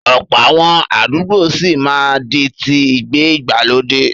Ọ̀pọ̀ àwọn àdúgbò sì máa di ti ìgbé ìgbàlódé.